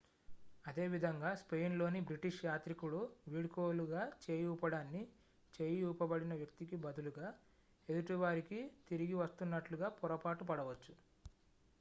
అదేవిధంగా స్పెయిన్లోని బ్రిటిష్ యాత్రికుడు వీడ్కోలుగా చేయి ఊపడాన్ని చేయి ఊపబడిన వ్యక్తికి బదులుగా ఎదుటి వారికి తిరిగి వస్తున్నట్లుగా పొరపాటు పడవచ్చు